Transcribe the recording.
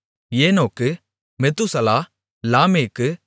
ஏனோக்கு மெத்தூசலா லாமேக்கு